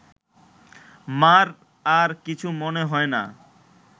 মা’র আর কিছু মনে হয় না